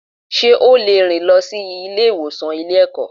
Sé ó lè rìn lọ sí Ilé ìwòsàn Ilé ẹ̀kọ́